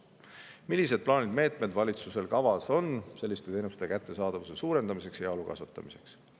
Millised plaanid, meetmed on valitsusel kavas selliste teenuste kättesaadavuse suurendamiseks ja heaolu kasvatamiseks?